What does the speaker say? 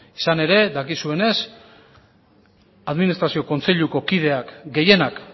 izan ere dakizuenez administrazio kontseiluko kideak gehienak